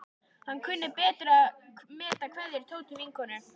Hann kunni betur að meta kveðjur Tótu vinnukonu.